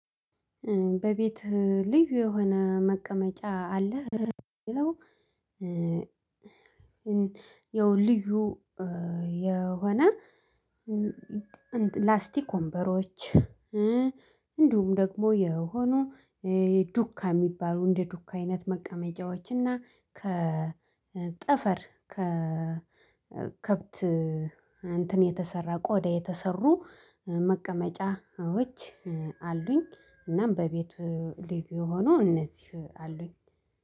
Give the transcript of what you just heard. በቤትሀ ልዩ የሆነ መቀመጫ አለህ ለሚለው? ያው ልዩ የሆነ ላስቲክ ወንበሮች እንዲሁም ደግሞ የሆኑ ዱካ የሚባሉ እንደ ዱካ አይነት መቀመጫዎች እና ከ ጠፈር ከ ከብት የተሰራ ቆዳ የተሰሩ መቀመጫዎች አሉኝ። እናም በቤቱ ልዩ የሆኑ እነዚህ አሉኝ።